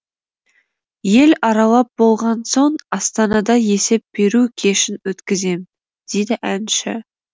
ел аралап болған соң астанада есеп беру кешін өткізем дейді әнші